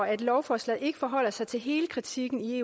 at lovforslaget ikke forholder sig til hele kritikken i